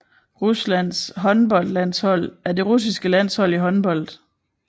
Ruslands håndboldlandshold er det russiske landshold i håndbold